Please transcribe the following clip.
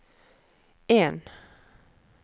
en